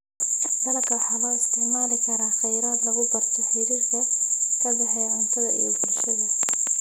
Dalagga waxaa loo isticmaali karaa kheyraad lagu barto xiriirka ka dhexeeya cuntada iyo bulshada.